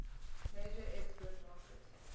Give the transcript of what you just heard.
major export market